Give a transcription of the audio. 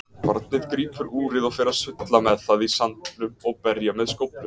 Barnið grípur úrið og fer að sulla með það í sandinum og berja með skóflu.